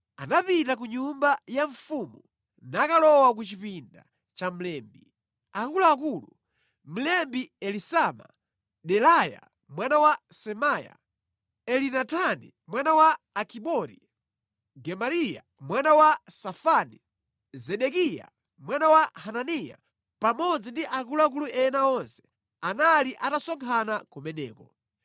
anapita ku nyumba ya mfumu nakalowa ku chipinda cha mlembi. Akuluakulu, mlembi Elisama, Delaya mwana wa Semaya, Elinatani mwana wa Akibori, Gemariya mwana wa Safani, Zedekiya mwana wa Hananiya pamodzi ndi akuluakulu ena onse, anali atasonkhana kumeneko.